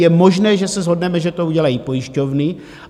Je možné, že se shodneme, že to udělají pojišťovny.